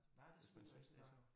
Nej det selvfølgelig rigtig nok